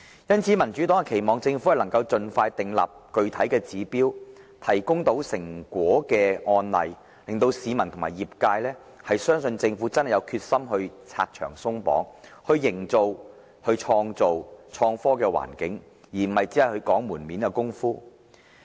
因此，民主黨期望政府能夠盡快訂立具體指標，提供產生成果的案例，令市民和業界相信政府真的有決心"拆牆鬆綁"，以創造創科環境，而不是只做"門面工夫"。